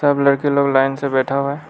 सब लड़की लोग लाइन से बैठा हुआ है।